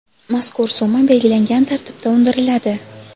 mazkur summa belgilangan tartibda undiriladi.